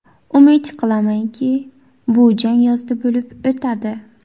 Umid qilamanki, bu jang yozda bo‘lib o‘tadi.